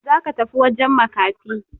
Za ka tafi wajen makafi!